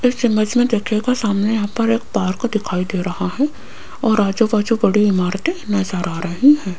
इस इमेज में देखिएगा सामने यहां पर एक पार्क दिखाई दे रहा है और आजू बाजू बड़ी इमारतें नजर आ रही हैं।